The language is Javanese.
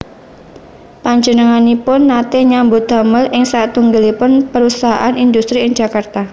Panjenenganipun nate nyambut damel ing satunggalipun perusahaan indhustri ing Jakarta